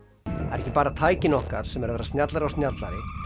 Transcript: eru ekki bara tækin okkar sem eru að verða snjallari og snjallari